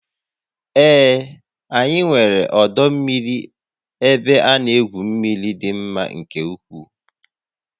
Ee, anyị nwere ọdọ mmiri ebe ana egwu mmiri dị mma nke ukwuu